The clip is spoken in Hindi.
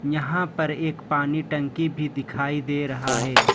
यहां पर एक पानी टंकी भी दिखाई दे रहा है।